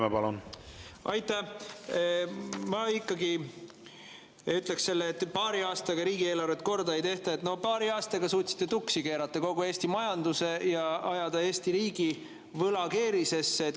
Ma ikkagi ütleks selle kohta, et paari aastaga riigieelarvet korda ei tehta: no paari aastaga suutsite tuksi keerata kogu Eesti majanduse ja ajada Eesti riigi võlakeerisesse.